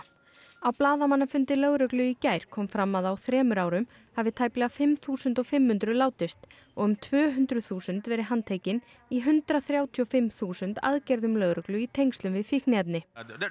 á blaðamannafundi lögreglu í gær kom fram að á þremur árum hafi tæplega fimm þúsund fimm hundruð látist og um tvö hundruð þúsund verið handtekin í hundrað þrjátíu og fimm þúsund aðgerðum lögreglu í tengslum við fíkniefni